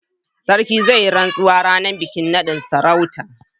Sarkin zai yi rantsuwa ranar bikin naɗin sarautar.